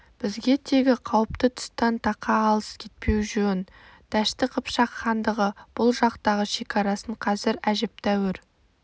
бізге тегі қауіпті тұстан тақа алыс кетпеу жөн дәшті қыпшақ хандығы бұл жақтағы шекарасын қазір әжептәуір